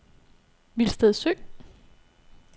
Vilsted Sø